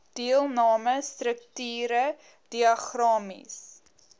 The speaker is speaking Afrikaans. deelname strukture diagramaties